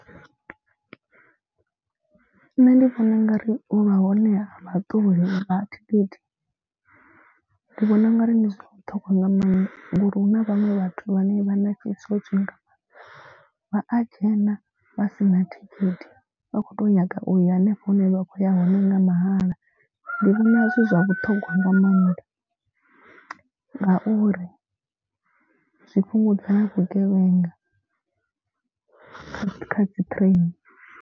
Nṋe ndi vhona u nga ri u vha hone ha vha ṱoli vha thikhithi ndi vhona ungari ndi zwa vhuṱhogwa nga maanḓa. Ngori hu na vhaṅwe vhathu vha ne vha na vhutswotswi nga maanḓa. Vha a dzhena vha sina thikhithi vha kho to nyaga uya henefho hune vha khoya hone nga mahala. Ndi vhona zwi zwa vhuṱhongwa nga mannḓa ngauri zwi fhungudza na vhugevhenga kha dzi train.